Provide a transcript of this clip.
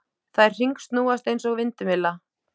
Þær hringsnúast eins og vindmylla.